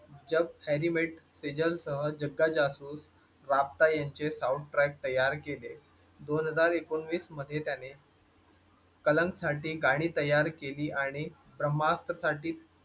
जब Harry met Sejal सह जग्गा जासूसराबता यांचे Sound Track तयार केले. दोन हज़र उकनवीस मध्ये त्याने. कलंक साठी गाणी तयार केली आणि ब्रम्हाअस्त्र साठी